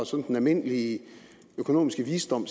sådan almindelige økonomiske visdom